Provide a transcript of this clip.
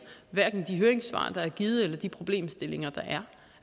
de høringssvar der er givet eller de problemstillinger der